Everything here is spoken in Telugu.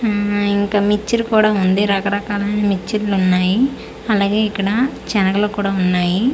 ఉమ్ ఇంకా మిచర్ కూడా ఉంది రకరకాల మిచర్లు కూడా ఉన్నాయి అలాగే ఇక్కడ చనగలు కూడా ఉన్నాయి.